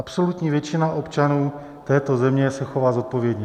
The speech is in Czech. Absolutní většina občanů této země se chová zodpovědně.